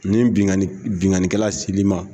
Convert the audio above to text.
Nin binkani binkanikɛla sel'i ma.